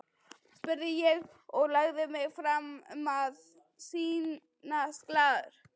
spurði ég og lagði mig fram um að sýnast glaður.